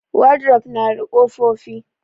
Wadrof nada ƙofofi.